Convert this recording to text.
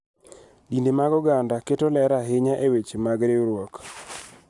Dinde mag oganda keto ler ahinya e weche mag riwruok.